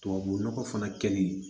Tubabu nɔgɔ fana kɛli